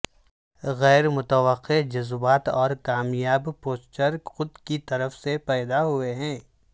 غیر متوقع جذبات اور کامیاب پوسٹچر خود کی طرف سے پیدا ہوئے ہیں